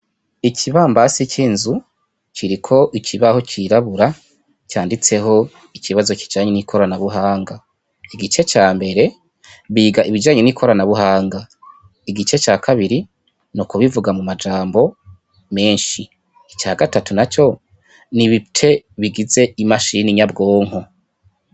Ikibambase cinzu kiriko ikibaho cirabura canditseho ikibazo kijanye nikoranabuhanga igice cambere biga ibijanye nikoranabuhanga igice cakabiri nukubivuga mumajambo menshi, icagatatu naco nibice bigize imashine nyabwonko.